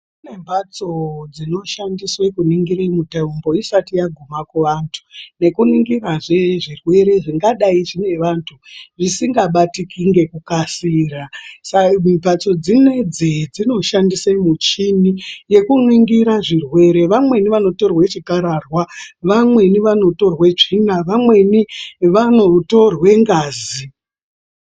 Kune mbatso dzinoshandiswe kuningira mitombo isati yaguma kuvantu, nekuningira zve zvirwere zvingadai zvinevantu zvisingabatiki ngekukasira. Mbatso dzinoidzi dzinoshandise muchini yeku ningira zvirwere, vamweni vanotorwa chikararwa, vamweni vanotorwe tsvina, vamweni vanotorwe ngazi .